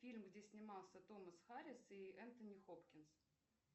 фильм где снимался томас харрис и энтони хопкинс